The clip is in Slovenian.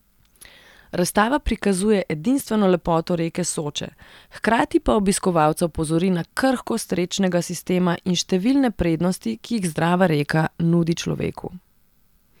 Razstava prikazuje edinstveno lepoto reke Soče, hkrati pa obiskovalca opozori na krhkost rečnega sistema in številne prednosti, ki jih zdrava reka nudi človeku.